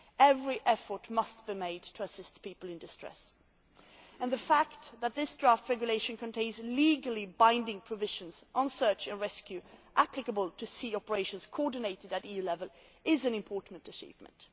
Every effort must be made to assist people in distress and the fact that this draft regulation contains legally binding provisions on search and rescue applicable to sea operations coordinated at EU level is an important achievement.